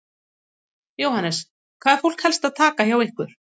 Jóhannes: Hvað er fólk helst að taka hjá ykkur?